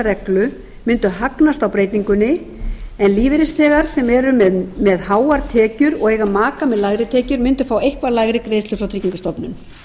reglu mundu hagnast á breytingunni en lífeyrisþegar sem eru með háar tekjur og eiga maka með lægri tekjur mundu fá eitthvað lægri greiðslur frá tryggingastofnun